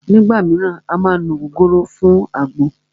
Nígbà míràn à má ń ló ògógóró fún àgbo